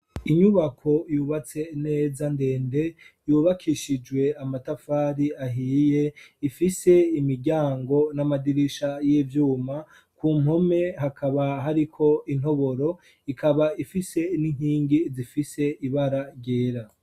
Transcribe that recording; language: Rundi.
Inyubako yubatse neza ndende ,yubakishijwe amatafari ahiye, ifise imiryango n'amadirisha y'ivyuma, ku mpome hakaba hariko intoboro, ikaba ifise n'inkingi zifise ibara ryera.